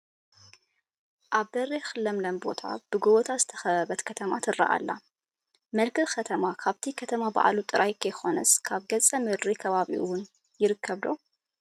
ኣብ በሪኽ ለምለም ቦታ ብጐቦታት ዝተኸበበት ከተማ ትርአ ኣላ፡፡ መልክዕ ከተማ ካብቲ ከተማ ባዕሉ ጥራይ ከይኮነስ ካብ ገፀ ምድሪ ከባቢኡ እውን ይርከብ ዶ?